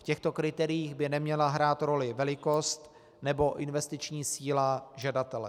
V těchto kritériích by neměla hrát roli velikost nebo investiční síla žadatele.